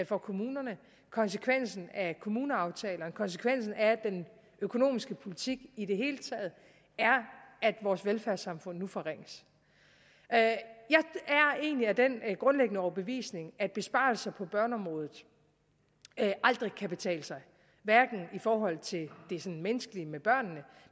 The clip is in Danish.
for kommunerne konsekvensen af kommuneaftalerne konsekvensen af den økonomiske politik i det hele taget er at vores velfærdssamfund nu forringes jeg er egentlig af den grundlæggende overbevisning at besparelser på børneområdet aldrig kan betale sig hverken i forhold til det sådan menneskelige med børnene